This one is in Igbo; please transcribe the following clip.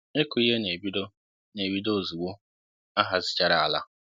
ịkụ ihe n'ebido n'ebido ozugbo ahazichara àlà